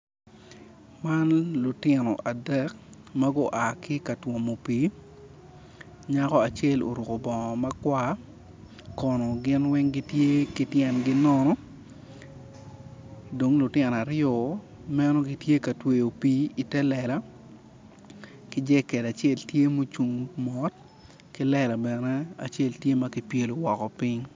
Man lutino adek ma gua ki ka twomo pii nyako kono gin weng gitye ki tyengi nono dong lutino ariyo men gitye katweyo pii i te lela ki jekel acel ki lela bene tye ki pyelo piny.